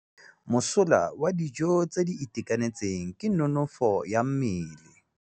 Mosola wa dijô tse di itekanetseng ke nonôfô ya mmele.